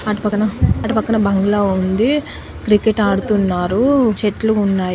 అటు పక్కన అటు పక్కన బంగ్లా ఉంది క్రికెట్ ఆడుతున్నారు చెట్లు ఉన్నాయి.